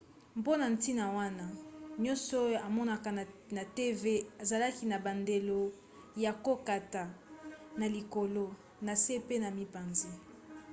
mpona ntina wana nyonso oyo omonaka na tv ezalaka na bandelo ya kokata na likolo na se pe na mipanzi